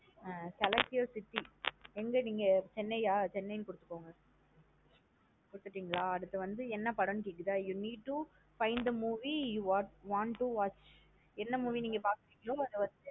Ah select your city எங்க நீங்க chennai யா chennai னு குடுத்துக்கோங்க குடுத்திட்டிகலா அடுத்து வந்து என்ன படன்னு கேக்குதா You need to find the movie you want to watch என்ன movie நீங்க பக்க போறீங்களோ அதா வந்து.